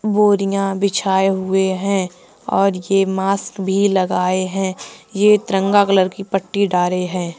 बोरियां बिछाए हुए हैं और ये मस्क भी लगाए हैं ये तिरंगा कलर की पट्टी डारे है।